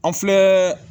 An filɛ